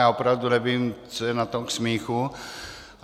Já opravdu nevím, co je na tom k smíchu.